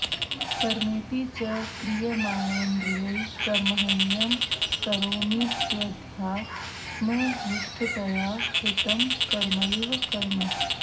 कर्मेति च क्रियमाणेन्द्रियैः कर्मण्यहं करोमीत्यध्यात्मनिष्ठतया कृतं कर्मैव कर्म